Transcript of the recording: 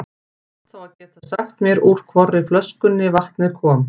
Þú átt þá að geta sagt mér úr hvorri flöskunni vatnið kom.